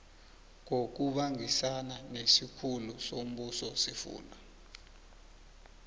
ngokubangisana nesikhulu sombusosifunda